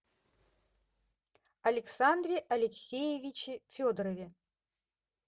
александре алексеевиче федорове